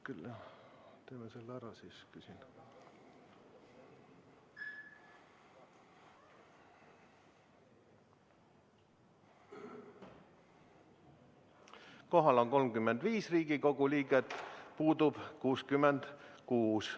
Kohal on 35 Riigikogu liiget, puudub 66.